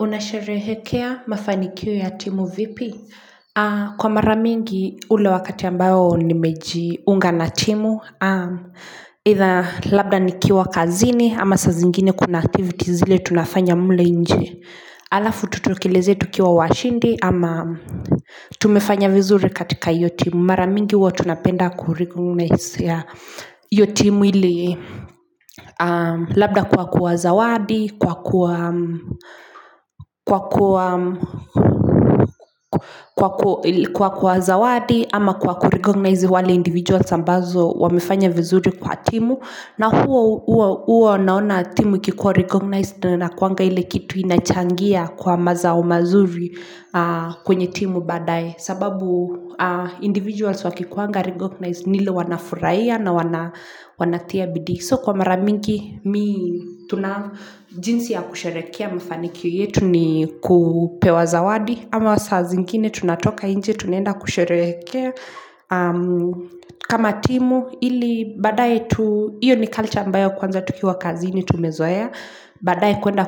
Unasharehekea mafanikio ya timu vipi? Kwa mara mingi ule wakati ambao nimejiunga na timu eitha labda nikiwa kazini ama saa zingine kuna activities zile tunafanya mule nje alafu tutokelezee tukiwa washindi ama Tumefanya vizuri katika hiyo timu mara mingi huwa tunapenda kuregonesia hiyo timu Labda kwa kuwazawadi kwa kwa kuzawadi ama kwa kurecognize wale individuals ambao wamefanya vizuri kwa timu na huwa unaona timu ikikikuwa recognized inakuwanga ile kitu inachangia kwa mazao mazuri kwenye timu baadae sababu individuals wakikuanga recognized ni ile wanafurahia na wanatia bidii So kwa mara mingi, tuna jinsi ya kusherehekea mafanikio yetu ni kupewa zawadi ama saa zingine tunatoka nje, tunaenda kusherehekea kama timu, ili badae tu, hiyo ni culture ambayo kwanza tukiwa kazini tumezoea Baadae kuenda